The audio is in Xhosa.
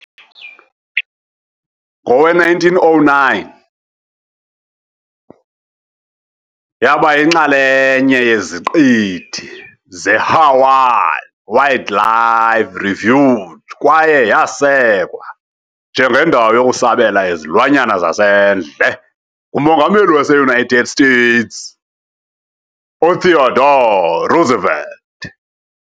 Ngowe-1909, yaba yinxalenye yeZiqithi zeHawaiian Wildlife Refuge kwaye yasekwa njengendawo yokusabela yezilwanyana zasendle nguMongameli waseUnited States uTheodore Roosevelt .